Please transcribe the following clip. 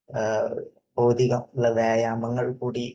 ഭൌതികം ഉള്ള വ്യായാമങ്ങൾ കൂടി